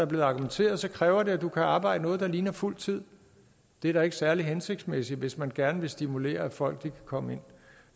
blevet argumenteret kræver det at du kan arbejde noget der ligner fuld tid det er da ikke særlig hensigtsmæssigt hvis man gerne vil stimulere at folk kan komme ind